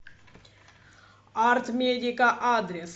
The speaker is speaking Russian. арт медика адрес